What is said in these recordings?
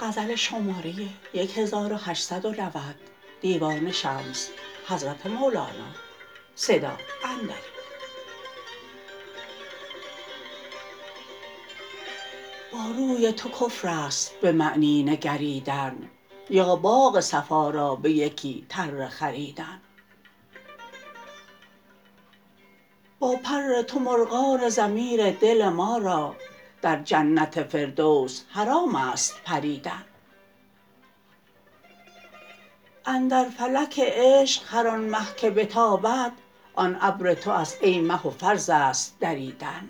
با روی تو کفر است به معنی نگریدن یا باغ صفا را به یکی تره خریدن با پر تو مرغان ضمیر دل ما را در جنت فردوس حرام است پریدن اندر فلک عشق هر آن مه که بتابد آن ابر تو است ای مه و فرض است دریدن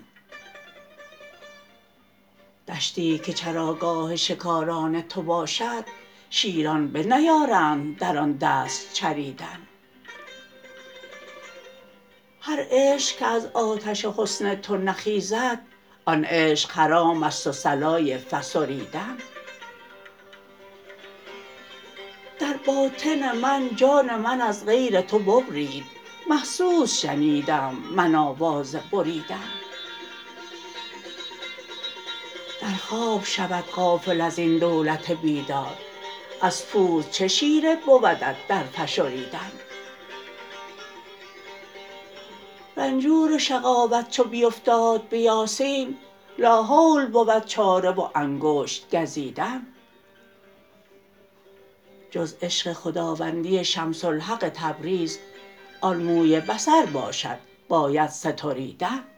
دشتی که چراگاه شکاران تو باشد شیران بنیارند در آن دست چریدن هر عشق که از آتش حسن تو نخیزد آن عشق حرام است و صلای فسریدن در باطن من جان من از غیر تو ببرید محسوس شنیدم من آواز بریدن در خواب شود غافل از این دولت بیدار از پوست چه شیره بودت در فشریدن رنجور شقاوت چو بیفتاد به یاسین لاحول بود چاره و انگشت گزیدن جز عشق خداوندی شمس الحق تبریز آن موی بصر باشد باید ستریدن